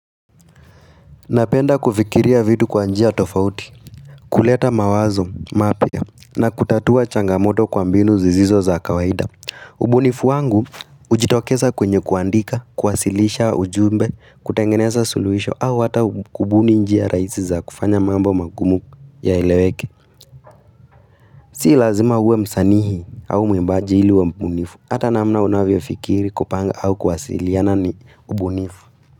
Napenda kufikiria vitu kwa njia tofauti, kuleta mawazo mapya na kutatua changamoto kwa mbinu zisizo za kawaida. Ubunifu wangu hujitokeza kwenye kuandika, kuwasilisha ujumbe, kutengeneza suluhisho au hata kubuni njia raisi za kufanya mambo magumu yaeleweke. Si lazima uwe msanii au mwimbaji ili uwe mbunifu, ata namna unavyofikiri kupanga au kuwasiliana ni ubunifu.